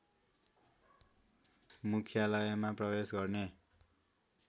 मुख्यालयमा प्रवेश गर्ने